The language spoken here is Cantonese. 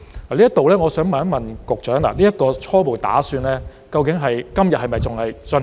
就這方面，我想問局長，這個初步打算究竟在今天是否仍在進行？